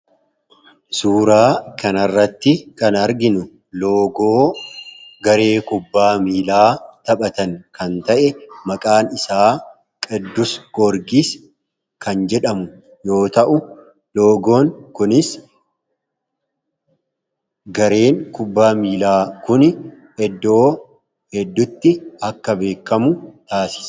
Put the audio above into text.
suuraa kanarratti kan arginu loogoo garee kubbaa miilaa taphatan kan ta'e maqaan isaa qidus gorgiis kan jedhamu yoo ta'u loogoon kunis gareen kubbaa miilaa kun doo heddutti akka beekamu taasis